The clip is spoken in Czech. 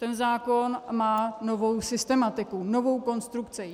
Ten zákon má novou systematiku, novou konstrukci.